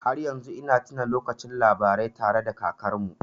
Har yanzu ina tuna lokacin labarai tare da kakarmu.